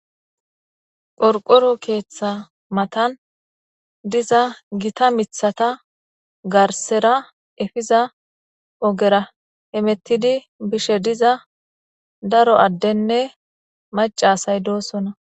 Qorqoro keeththa matan diza gita mithata garsera efiza ogera hemettidi bishe diza daro addenne macasay doosona.